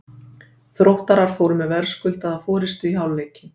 Þróttarar fóru með verðskuldaða forystu í hálfleikinn.